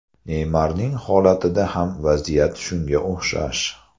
Neymarning holatida ham vaziyat shunga o‘xshash.